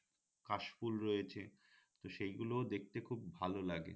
কাশফুল রয়েছে তো সেই গুলোও দেখতে খুব ভাল লাগে